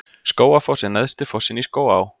Skógafoss er neðsti fossinn í Skógaá.